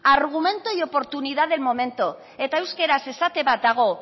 argumento y oportunidad del momento eta euskaraz esate bat dago